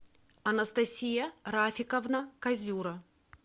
анастасия рафиковна козюра